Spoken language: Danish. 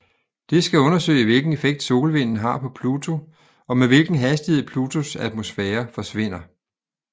Det skal undersøge hvilken effekt solvinden har på Pluto og med hvilken hastighed Plutos atmosfære forsvinder